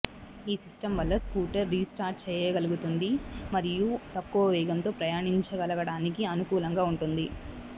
ఈ సిస్టమ్ వల్ల scooter restart చేయగలుగుతుంది మరియు తక్కువ వేగంతో ప్రయాణించగలగటానికి అనుకూలంగా ఉంటుంది